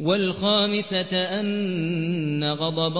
وَالْخَامِسَةَ أَنَّ غَضَبَ